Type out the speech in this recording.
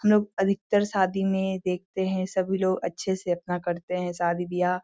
लोग अधिकतर शादी में देखते है सभी लोग अच्छे से अपना करते है शादी बियाह ।